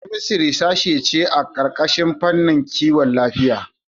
Biokemistri sashe ce a ƙarƙashin fannin Kiwon Lafiya.